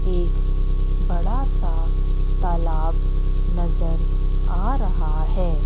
एक बड़ासा तालाब नजर आ रहा है।